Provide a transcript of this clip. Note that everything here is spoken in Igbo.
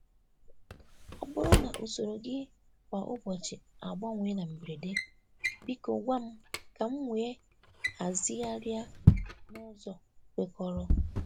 Ọ bụrụ na usoro gị kwa ụbọchị agbanwe na mberede, biko gwa m ka m wee hazigharị n'ụzọ kwekọrọ.